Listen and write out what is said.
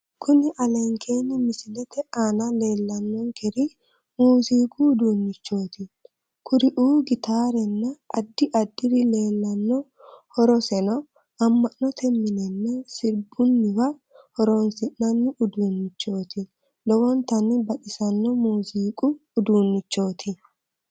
Kuni alenkeenni misilete aana leellannonkeri muuziiqu uduunnichooti kuriuuno gitaarenna addi addiri leellanno horoseno amma'note minenna sirbunniwa horonsi'nanni uduunnichooti lowontanni baxissanno muuziiqu uduunnichooti